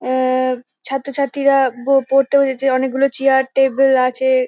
আর-র ছাত্রছাত্রীরা ব পড়তে বসেছে অনেকগুলো চেয়ার টেবিল আছে ।